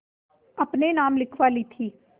अपने नाम लिखवा ली थी